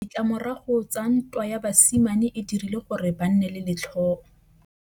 Ditlamorago tsa ntwa ya basimane e dirile gore ba nne le letlhôô.